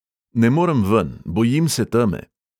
Ne morem ven, bojim se teme.